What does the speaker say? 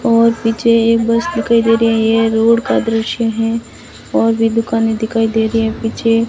और पीछे एक बस दिखाई दे रही है ये रोड का दृश्य हैं और भी दुकानें दिखाई दे रही है पीछे --